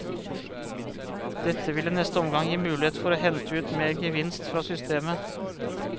Dette vil i neste omgang gi mulighet for å hente ut mer gevinst fra systemet.